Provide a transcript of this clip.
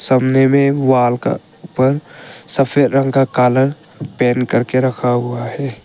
कमरे में वाल का ऊपर सफेद रंग का कलर पेंट करके रखा हुआ है।